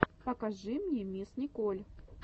покажи мне мисс николь